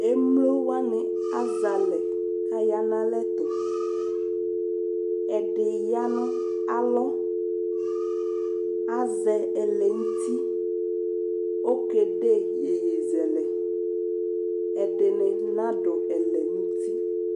Emlo wanɩ azɛ alɛ kʋ aya nʋ alɛ tʋ Ɛdɩ ya nʋ alɔ Azɛ ɛlɛnʋti Okede iyeyezɛlɛ Ɛdɩnɩ nadʋ ɛlɛnʋti